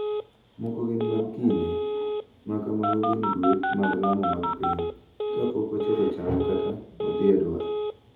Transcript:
moko gin mag kinde, ma kamago gin gweth mag lamo mag piny. kapok ochoko cham kata odhi e dwar.